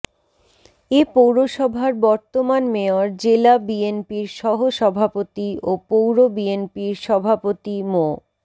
এ পৌরসভার বর্তমান মেয়র জেলা বিএনপির সহসভাপতি ও পৌর বিএনপির সভাপতি মো